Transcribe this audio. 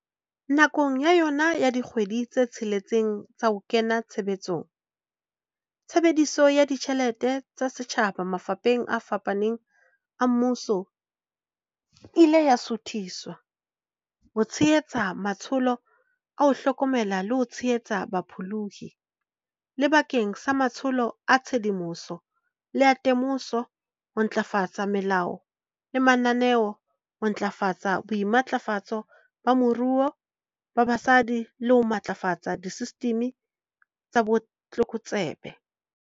Nakong ya yona ya dikgwedi tse tsheletseng tsa ho kena tshebetsong, tshebediso ya ditjhelete tsa setjhaba mafapheng a fapaneng a mmuso e ne ya suthiswa ho tshe-hetsa matsholo a ho hlokomela le ho tshehetsa bapholohi, le bakeng sa matsholo a tshedimoso le a te-moso, ho ntlafatsa melao le mananeo, ho ntlafatsa boimatlafatso ba moruo ba basadi le ho matlafatsa disesitimi tsa botlokotsebe.